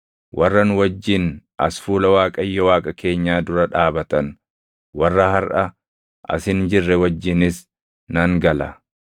warra nu wajjin as fuula Waaqayyo Waaqa keenyaa dura dhaabatan warra harʼa as hin jirre wajjinis nan gala.